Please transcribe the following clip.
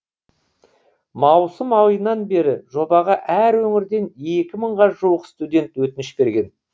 маусым айынан бері жобаға әр өңірден екі мыңға жуық студент өтініш берген